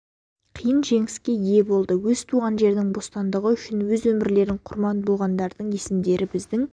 қиын жеңіске ие болды өз туған жерінің бостандығы үшін өз өмірлерін құрбан болғандардың есімдері біздің